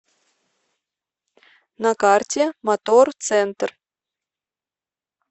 на карте мотор центр